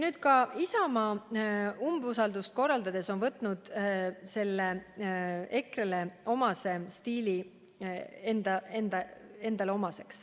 Nüüd on ka Isamaa umbusaldust korraldades selle EKRE-le omase stiili omaks võtnud.